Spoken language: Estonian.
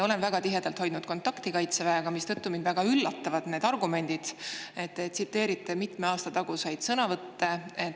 Olen väga tihedalt hoidnud kontakti Kaitseväega, mistõttu mind väga üllatavad need teie argumendid, kui te tsiteerite mitme aasta taguseid sõnavõtte.